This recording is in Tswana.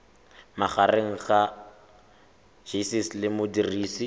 magareng ga gcis le modirisi